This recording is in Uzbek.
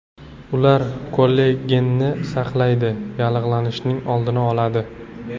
Ular kollagenni saqlaydi, yallig‘lanishning oldini oladi.